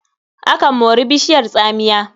Akan mori bishiyar tsamiya.